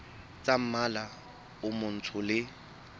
tsa mmala o motsho le